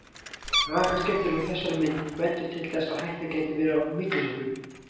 Rakaskemmdirnar á þessari mynd benda til þess að hætta gæti verið á myglusveppum.